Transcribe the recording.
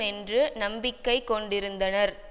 என்று நம்பிக்கை கொண்டிருந்தனர்